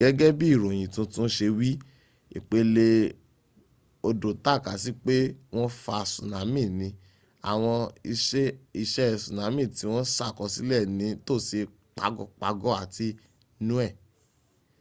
gẹ́gẹ́ bí ìròyìn tuntun ṣe wí ìpelé odò takasí pé wọ́n fa tsunami ni àwọn iṣe tsunami ti wọ́n ṣàkọsílẹ̀ ní tòsí pago pago àti niue